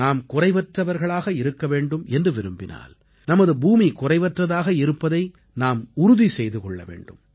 நாம் குறைவற்றவர்களாக இருக்க வேண்டும் என்று விரும்பினால் நமது பூமி குறைவற்றதாக இருப்பதை நாம் உறுதி செய்து கொள்ள வேண்டும்